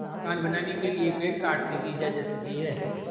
मकान बनाने के लिए पेड़ काटने की इजाज़त दी है